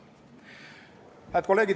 Head kolleegid!